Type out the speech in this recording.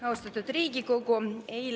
Austatud Riigikogu!